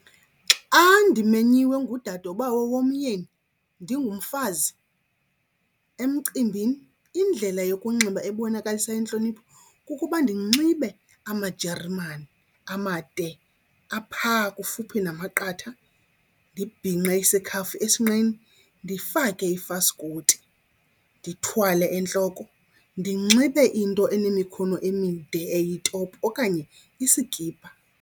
Xa ndimenyiwe ngudadobawo womyeni ndingumfazi emcimbini, indlela yokunxiba ebonakalisa intlonipho kukuba ndinxibe amajeremane amade aphaa kufuphi namaqatha, ndibhinqe isikhafu esinqeni, ndifake ifaskoti, ndithwale entloko, ndinxibe into enemikhono emide eyitopi okanye isikipa.